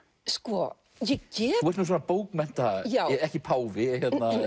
sko ég get þú ert svona bókmennta ekki páfi